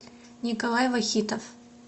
николай вахитов